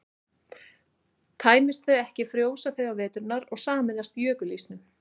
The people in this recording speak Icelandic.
tæmist þau ekki frjósa þau á veturna og sameinast jökulísnum